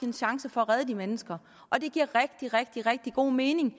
en chance for at redde de mennesker og det giver rigtig rigtig rigtig god mening